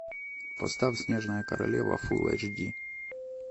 поставь снежная королева фулл эйч ди